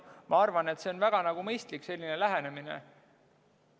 Ma arvan, et see on väga mõistlik lähenemine.